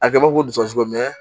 A kɛbɔ kojugu